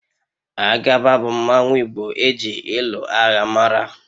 Agaba bu mmanwu igbo eji ịlụ agha mara